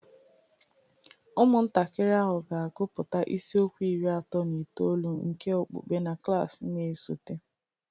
Ụmụntakịrị ahụ ga-agụpụta isiokwu iri atọ na itoolu nke okpukpe na klas na-esote